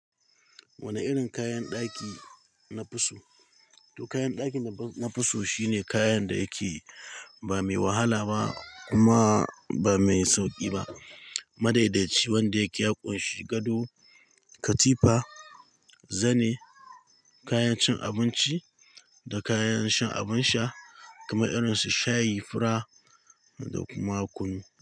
Wani irin kayan ɗaki na fi so? To kayan ɗaki na fiso shine kayan da yake ba mai wahala ba kuma ba mai sauƙi ba. Madadaici wanda yake ya ƙunshi gado, katifa, zane, kayan cin abinci da kayan shan abin sha kamar irin su shayi, fura da kuma kunu.